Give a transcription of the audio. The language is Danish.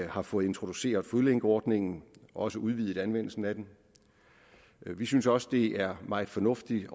har fået introduceret fodlænkeordningen også udvidet anvendelsen af den vi synes også det er meget fornuftigt